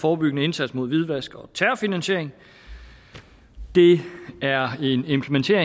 forebyggende indsats mod hvidvask og terrorfinansiering det er